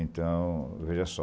Então, veja só.